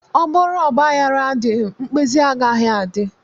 Ọ bụrụ ọgbaghara adịghị, mkpezi agaghị adị